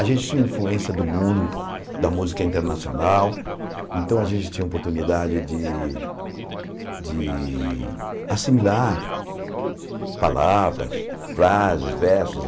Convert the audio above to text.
A gente tinha influência do mundo, da música internacional, então a gente tinha oportunidade de de assimilar palavras, frases, versos.